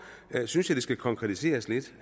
synes jeg det skal konkretiseres lidt